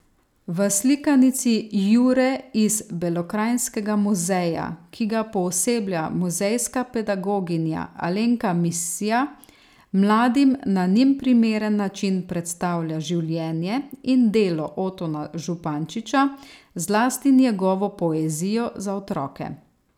V slikanici Jure iz Belokranjskega muzeja, ki ga pooseblja muzejska pedagoginja Alenka Misja, mladim na njim primeren način predstavlja življenje in delo Otona Župančiča, zlasti njegovo poezijo za otroke.